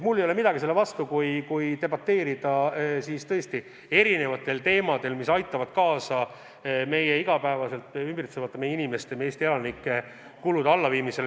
Mul ei ole midagi selle vastu, et debateerida erinevate sammude üle, mis aitavad kaasa meie inimeste, Eesti elanike igapäevaste kulude allaviimisele.